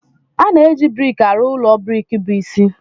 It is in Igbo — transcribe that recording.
A na-eji brik arụ ụlọ brik bụ isi.